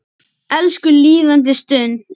Elska líðandi stund.